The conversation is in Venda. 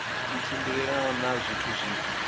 i tshimbilelana na zwithu zwi